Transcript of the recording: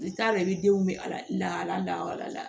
I t'a dɔn i bɛ denw bɛ ala lahala da yɔrɔ la